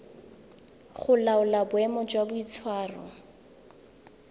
go laola boemo jwa boitshwaro